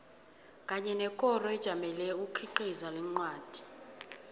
kanye nekoro ejamele ukukhiqiza kwencwadi